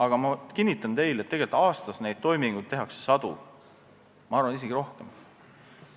Aga ma kinnitan teile, et aastas tehakse neid toiminguid sadu, ma arvan, et isegi rohkem.